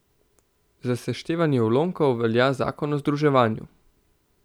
Za seštevanje ulomkov velja zakon o združevanju.